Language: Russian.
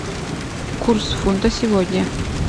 курс фунта сегодня